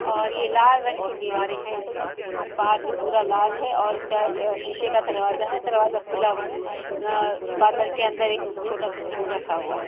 और ये लाल रंग की दीवारें है इसकी। बाहर से पूरा लाल है और इसका अ शीशे का दरवाजा है। दरवाजा खुला हुआ है। अ पार्लर के अंदर एक छोटा सा स्टूल रखा हुआ है।